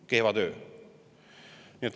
Kehva töö!